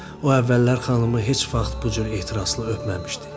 O əvvəllər xanımı heç vaxt bu cür ehtiraslı öpməmişdi.